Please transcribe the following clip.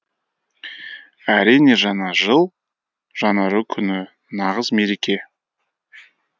әрине жаңа жыл жаңару күні нағыз мереке